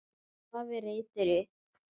Afi reytir upp.